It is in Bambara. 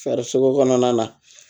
Fɛrisogo kɔnɔna na